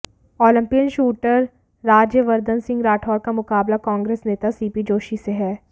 Olympian shooter Rajyavardhan Singh Rathore का मुकाबला कांग्र्रेस नेता सीपी जोशी से है